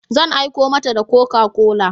Zan aiko mata da Coca-Cola.